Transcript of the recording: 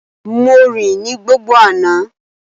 Mo rìn ní gbogbo àná